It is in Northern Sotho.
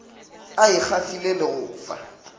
a ikgafile le go fa